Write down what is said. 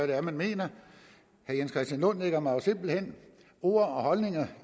det er man mener herre jens christian lund lægger mig jo simpelt hen ord og holdninger